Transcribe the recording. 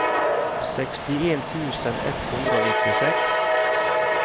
sekstien tusen ett hundre og nittiseks